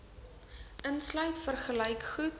insluit vergelyk goed